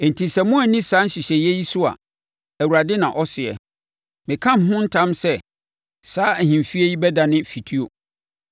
Enti sɛ moanni saa nhyehyɛeɛ yi so a, Awurade na ɔseɛ, Meka me ho ntam sɛ, saa ahemfie yi bɛdane fituo.’ ”